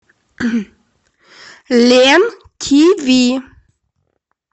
лен тв